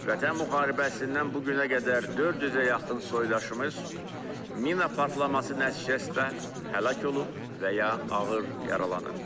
Vətən müharibəsindən bu günə qədər 400-ə yaxın soydaşımız mina partlaması nəticəsində həlak olub və ya ağır yaralanıb.